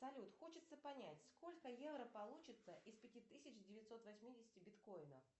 салют хочется понять сколько евро получится из пяти тысяч девятьсот восьмидесяти биткоинов